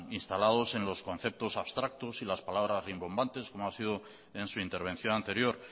instalados en los conceptos abstractos y las palabras rimbombantes como ha sido en su intervención anterior